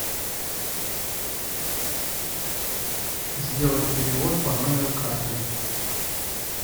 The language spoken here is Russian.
сделать перевод по номеру карты